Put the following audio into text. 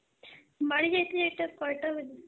বাড়ি যাইতে যাইতে কয়টা বেজে যায়?